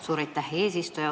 Suur aitäh, eesistuja!